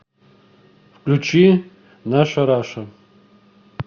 включи наша раша